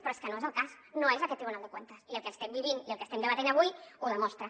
però és que no és el cas no és aquest tribunal de cuentas i el que estem vivint i el que estem debatent avui ho demostra